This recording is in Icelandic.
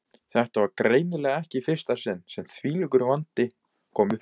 Þetta var greinilega ekki í fyrsta sinn sem þvílíkur vandi kom uppá.